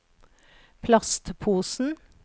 plastposen